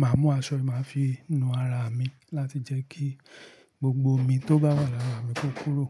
màá mú aṣọ, màá fii nú ara mi láti jẹ́ kí gbogbo omi tó bá wà lára mi kó kúrò.